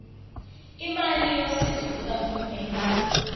imali yosizo lukahulumeni